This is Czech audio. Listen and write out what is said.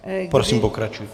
Prosím pokračujte.